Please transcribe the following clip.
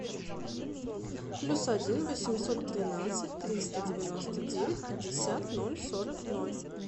плюс один восемьсот тринадцать триста девяносто девять пятьдесят ноль сорок ноль